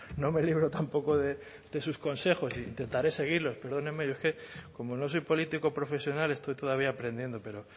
no me libro tampoco de sus consejos e intentaré seguirlos perdóneme yo es que como no soy político profesional estoy todavía aprendiendo pero